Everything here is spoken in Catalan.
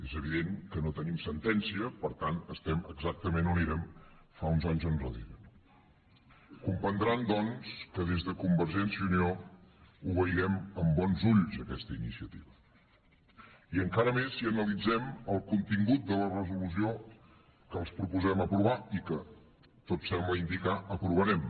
és evident que no tenim sentència per tant estem exactament on érem fa uns anys enrere no comprendran doncs que des de convergència i unió veiem amb bons ulls aquesta iniciativa i encara més si analitzem el contingut de la resolució que els proposem aprovar i que tot sembla indicar ho aprovarem